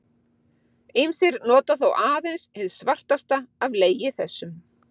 Ýmsir nota þó aðeins hið svartasta af legi þessum.